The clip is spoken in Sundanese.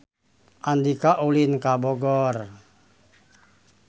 Andika ulin ka Bogor